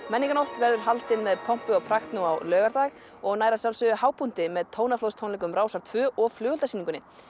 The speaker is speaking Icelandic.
menningarnótt verður haldin með pompi og prakt nú á laugardag og nær að sjálfsögðu hápunkti með Tónaflóðstónleikum Rásar tvö og flugeldasýningunni